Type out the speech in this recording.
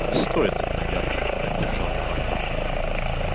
не стоит наверное поддержал его артем